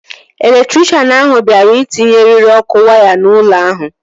Elektrikshan ahụ bịara itinye eriri ọkụ waya n'ụlọ ahụ